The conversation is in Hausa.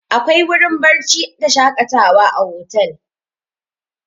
Akwai wurin barci da shaƙatawa a otel.